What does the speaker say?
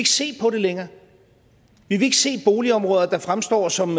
se på det længere vi vil ikke se boligområder der fremstår som